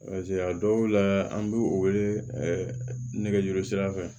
a dɔw la an b'u wele nɛgɛjuru sira fɛ